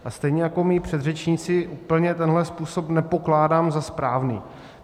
A stejně jako moji předřečníci úplně tenhle způsob nepokládám za správný.